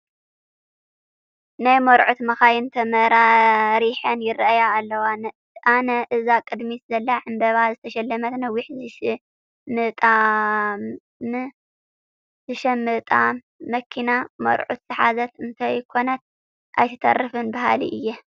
ናይ መርዑት መኻይን ተመራሪሐን ይርአያ ኣለዋ፡፡ ኣነ እዛ ቅድሚት ዘላ ዕምበባ ዝተሸለመት ነዊሕ ዝሽምጣም መኪና መርዑት ዝሓዘት እንተይኮነት ኣይትተርፍን በሃሊ እየ፡፡